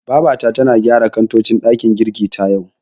Babata tana gyara kantocin ɗakin girkin ta, yau.